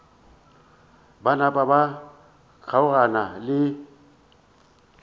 ba napa ba kgaogana le